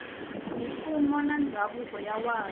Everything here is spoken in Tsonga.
mimfuwo na mindhavuko yin wana